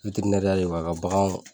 de don ka baganw